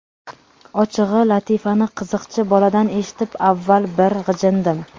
Ochig‘i, latifani qiziqchi boladan eshitib avval bir g‘ijindim.